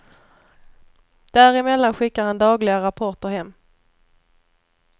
Däremellan skickar han dagliga rapporter hem.